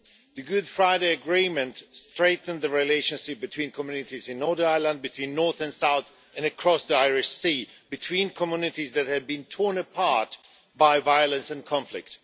The Good Friday Agreement strengthened the relationship between communities in Northern Ireland, between north and south, and across the Irish Sea, between communities that had been torn apart by violence and conflict.